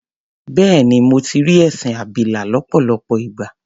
Bẹ́ẹ̀ni, mo ti rí ẹṣin abilà lọ́pọ̀lọpọ̀ ìgbà.